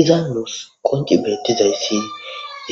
iza nuus qonci beettizayssi